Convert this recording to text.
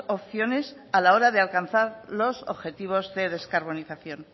opciones a la hora de alcanzar los objetivos de descarbonización